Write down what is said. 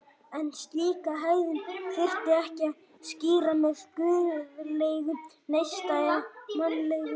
En slíka hegðun þyrfti ekki að skýra með guðlegum neista eða mannlegri skynsemi.